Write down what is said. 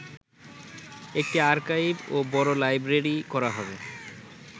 একটি আর্কাইভ ও বড় লাইব্রেরী করা হবে